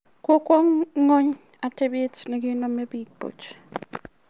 Kokowo ng'uny atebet nekenome biik buch .